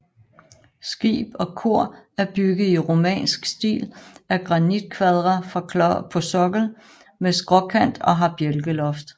Skib og kor er bygget i romansk stil af granitkvadre på sokkel med skråkant og har bjælkeloft